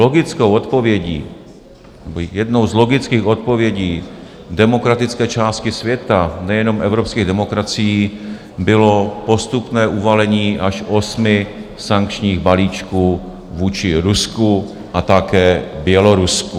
Logickou odpovědí, jednou z logických odpovědí demokratické části světa, nejenom evropských demokracií, bylo postupné uvalení až osmi sankčních balíčků vůči Rusku a také Bělorusku.